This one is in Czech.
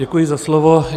Děkuji za slovo.